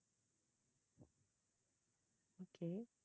okay